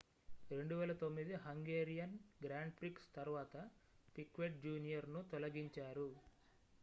2009 Hungarian Grand Prix తరువాత Piquet junior ను తొలగించారు